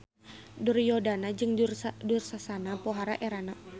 Duryodana jeung Dursasana pohara erana.